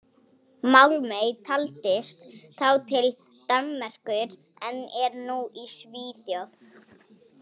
Málmey taldist þá til Danmerkur en er nú í Svíþjóð.